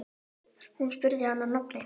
Hún spurði hann að nafni.